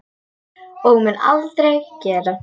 Og mun aldrei gera.